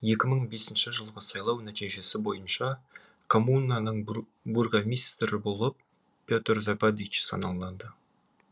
екі мың бесінші жылғы сайлау нәтижесі бойынша коммунаның бургомистрі болып петер забадич саналады